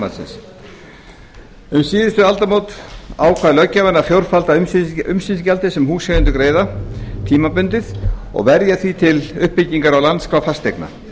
fasteignamatsins um aldamótin síðustu ákvað löggjafinn að fjórfalda umsýslugjaldið sem húseigendur greiða tímabundið og verja því til uppbyggingar á landskrá fasteigna